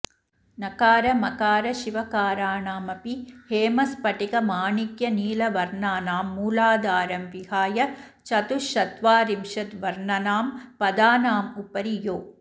नकारमकारशिवकाराणामपि हेमस्फटिक माणिक्यनीलवर्णानां मूलाधारं विहाय चतुश्चत्वारिशद्वर्णनां पदानामुपरि यो